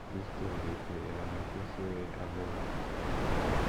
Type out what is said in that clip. dis thing dey pay i happy say i learn am